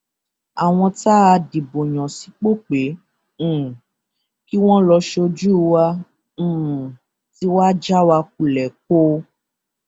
àwọn tá a dìbò yàn sípò pé um kí wọn lọọ sójú wa um ti já wa kulẹ póò